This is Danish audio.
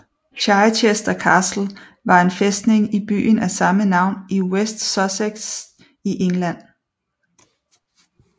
Chichester Castle var en fæstning i byen af samme navn i West Sussex i England